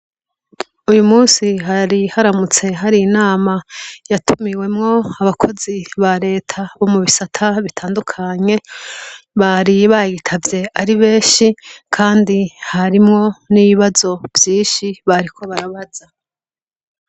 Uyu munsi hari haramutse hari inama yatumiwemwo abakozi ba Leta bo mu bisata bitandukanye , bari bayitavye ari benshi, kandi harimwo n' ibibazo vyinshi bariko barabaza.